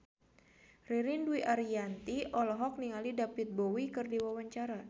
Ririn Dwi Ariyanti olohok ningali David Bowie keur diwawancara